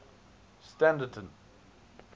standerton